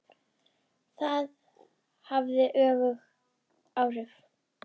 Það hafði öfug áhrif.